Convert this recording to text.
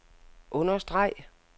understreg